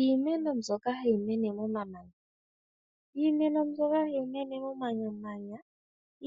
Iimeno mbyoka hayi mene momamanya, iimeno mbyoka hayi mene momamanya